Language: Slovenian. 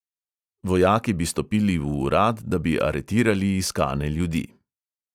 Vojaki bi stopili v urad, da bi aretirali iskane ljudi.